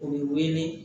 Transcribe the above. U bɛ wele